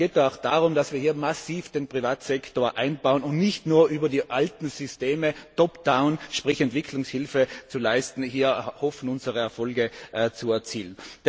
Es geht da auch darum, dass wir hier massiv den Privatsektor einbauen, und nicht nur hoffen, über die alten Systeme top down sprich Entwicklungshilfe zu leisten unsere Erfolge zu erzielen.